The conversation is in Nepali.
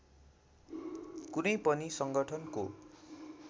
कुनै पनि सङ्गठनको